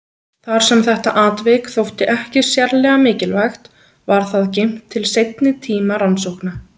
Þar sem þetta atvik þótti ekki sérlega mikilvægt var það geymt til seinni tíma rannsókna.